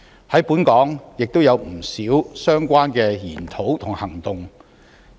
在本港亦有不少相關的研討和行動。